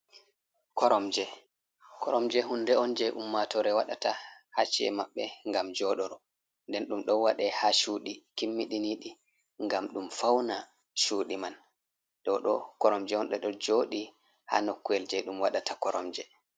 Koromje, koromje hunde on je ummatore waɗata ha ci'e maɓɓe gam joɗoro nden ɗum ɗo wadai ha cuɗi kimmiɗiniɗi gam ɗum fauna cuɗi man ɗo ɗo koromje on de ɗo joɗi ha nokku’el je ɗum waɗata koromje.